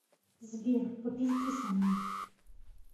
сбер попизди со мной